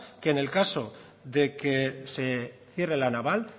que en el caso de que se cierre la naval